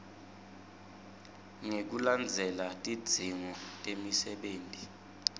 ngekulandzela tidzingo temsebenti